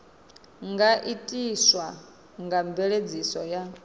nga itiswa nga mveledziso ya